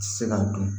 Ti se ka dun